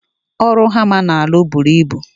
Ọrụ hama na alụ bụrụ ịbụ